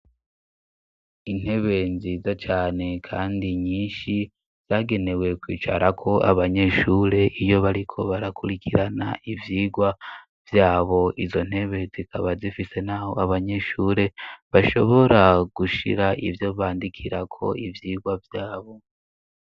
Intebe nziza cane kandi nyinshi zagenewe kwicarako abanyeshure iyo bariko barakurikirana ivyigwa vyabo izo ntebe zikaba zifise naho abanyeshure bashobora gushira ivyo bandikirako ivyigwa vyabo